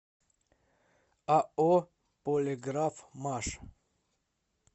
ао полиграфмаш